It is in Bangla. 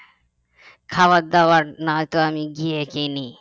খাবার দাবার নয়তো আমি গিয়ে কিনি